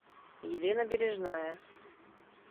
елена бережная